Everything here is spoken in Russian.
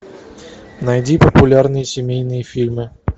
найди популярные семейные фильмы